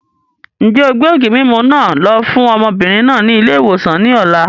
Ń jẹ́ ó gbé ògì mímú náà lọ fún ọmọbìnrin náà ni ilé-ìwòsàn ni ọ̀la